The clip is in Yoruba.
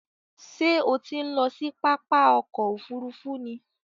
Ṣé o ti ń lọ sí pápá ọkò òfurufú ni?